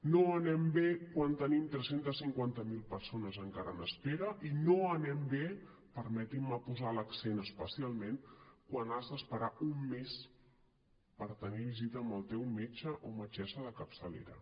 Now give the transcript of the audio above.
no anem bé quan tenim tres cents i cinquanta miler persones encara en espera i no anem bé permetin me posar hi l’accent especialment quan has d’esperar un mes per tenir visita amb el teu metge o metgessa de capçalera